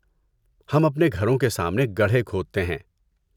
ہم اپنے گھروں کے سامنے گڑھے کھودتے ہیں۔